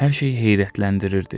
Hər şey heyrətləndirirdi.